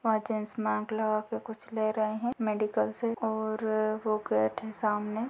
वहाँ gents mask लगा के कुछ ले रहे हैं मेडिकल से और वो गेट है सामने।